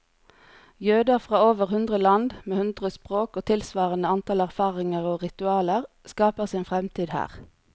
Jøder fra over hundre land, med hundre språk og tilsvarende antall erfaringer og ritualer, skaper sin fremtid her.